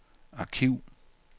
arkiv